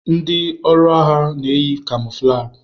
Ndi ọrụ agha na-eyi kamọflajị.